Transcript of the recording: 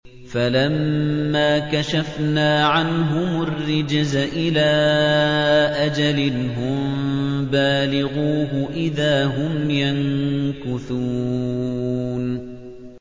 فَلَمَّا كَشَفْنَا عَنْهُمُ الرِّجْزَ إِلَىٰ أَجَلٍ هُم بَالِغُوهُ إِذَا هُمْ يَنكُثُونَ